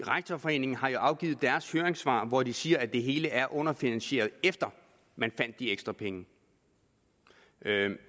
rektorforeningen har jo afgivet sit høringssvar hvor de siger at det hele er underfinansieret efter man fandt de ekstra penge